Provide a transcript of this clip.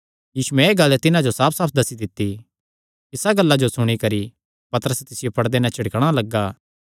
यीशुयैं एह़ गल्ल तिन्हां जो साफसाफ दस्सी दित्ती इसा गल्ला जो सुणी करी पतरस तिसियो पड़दे नैं झिड़कणा लग्गा